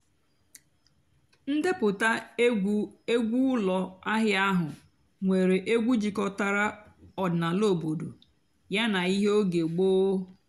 ǹdèpụ́tá ègwú ègwú ụ́lọ́ àhị́á àhú́ nwèré ègwú jikòtàrà ọ̀dị́náàlà òbòdo yàná íhé óge gbóó.